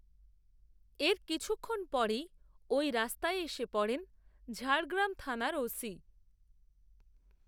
এর কিছুক্ষণ পরেই, ওই রাস্তায় এসে পড়েন, ঝাড়গ্রাম থানার ও সি